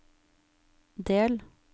del